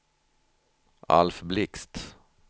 Alf Blixt